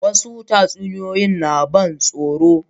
wasu tatsuniyoyi na ban tsoro